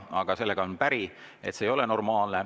Ent sellega olen päri, et see ei ole normaalne.